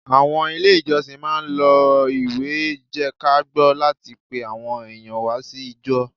Àwọn Ilé ìjọsìn máà ń lo ìwé jẹ́kágbọ́ láti pe àwọn èèyàn wá sí ijọ́